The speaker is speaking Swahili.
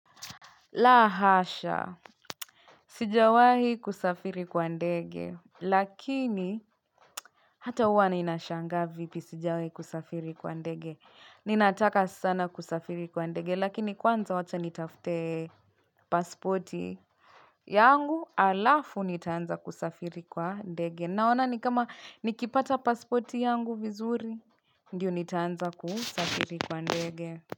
Lahasha, sijawahi kusafiri kwa ndege, lakini hata huwa ninashangaa vipi sijawahi kusafiri kwa ndege. Ninataka sana kusafiri kwa ndege, lakini kwanza wacha nitafte pasporti yangu alafu nitaanza kusafiri kwa ndege. Naona nikama nikipata pasporti yangu vizuri, ndio nitaanza kusafiri kwa ndege.